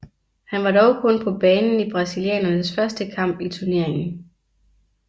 Han var dog kun på banen i brasilianernes første kamp i turneringen